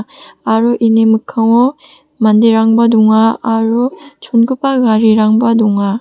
aro ini mikkango manderangba donga aro chongipa garirangba donga.